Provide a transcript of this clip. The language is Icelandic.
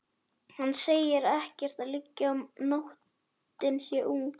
Hann segir að ekkert liggi á, nóttin sé ung.